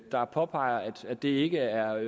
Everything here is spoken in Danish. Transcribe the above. der påpeger at det ikke er